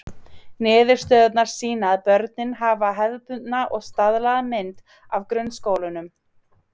Niðurstöðurnar sýna að börnin hafa hefðbundna og staðlaða mynd af grunnskólanum.